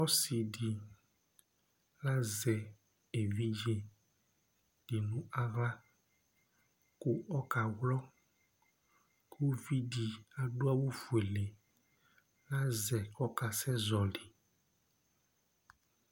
Ɔsidi lazɛ evidze di nʋ aɣla kʋ ɔka wlɔ kʋ ʋvidí adu adu awu fʋele azɛ kʋ ɔkasɛ zɔli